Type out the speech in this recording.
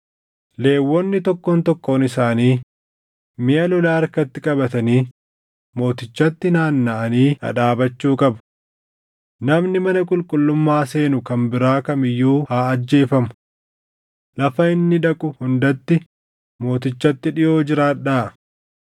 Lewwonni tokkoon tokkoon isaanii miʼa lolaa harkatti qabatanii mootichatti naannaʼanii dhadhaabachuu qabu. Namni mana qulqullummaa seenu kan biraa kam iyyuu haa ajjeefamu. Lafa inni dhaqu hundatti mootichatti dhiʼoo jiraadhaa.”